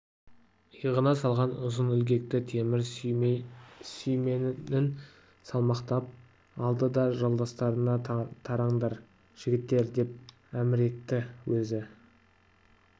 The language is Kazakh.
иығына салған ұзын ілгекті темір сүйменін салмақтап алды да жолдастарына тараңдар жігіттер деп әмір етті өзі